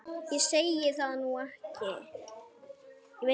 Ég segi það nú ekki.